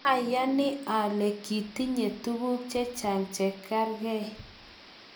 ayani ale kitinye tuguk chechang' che kargei